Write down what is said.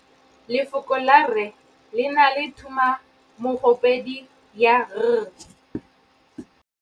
Lefoko la rre le na le tumammogôpedi ya, r.